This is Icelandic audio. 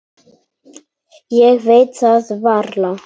Ég veit það varla.